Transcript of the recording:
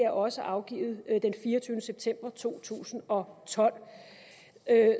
også afgivet den fireogtyvende september to tusind og tolv